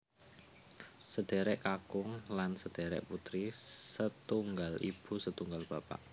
Sedherek kakung lan sedherek putri setunggal ibu setunggal bapak